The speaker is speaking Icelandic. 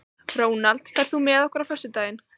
Ronald, ferð þú með okkur á föstudaginn?